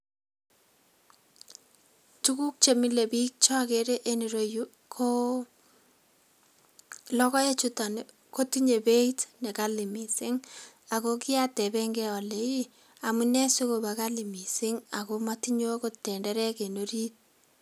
Tukuk chemile bik cheokere en ireyuu koo lokoek chutok nii kotinyee beit nekali missing ako kiateben gee ole iih amunee sikobo kali missing ako motinyee okot tenderek en orit.